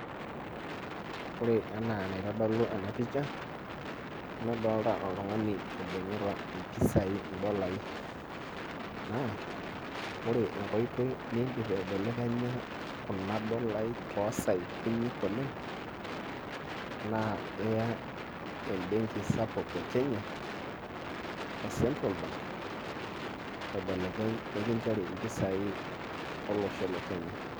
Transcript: ore naa enaa enaitodolu ena pishsa, nadoolta oltungani, oibung'ita impisai, idolai. naa ore enkoitoi nidim aibelekenya kuna dolai too saai kutik oleng' naa iya ebenki sapuk e kenya e central bank nikinchori impisai olosho le kenya.